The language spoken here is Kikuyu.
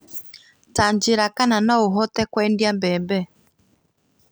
Tanjĩra kana no hote kwendĩa mbembe